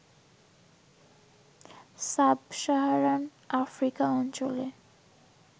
sub-Saharan Africa অঞ্চলে